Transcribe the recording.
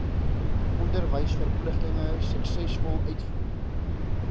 onderwysverpligtinge suksesvol uitvoer